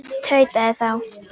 tautaði þá